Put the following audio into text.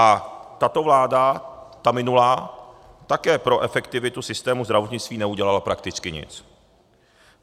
A tato vláda, ta minulá, také pro efektivitu systému zdravotnictví neudělala prakticky nic.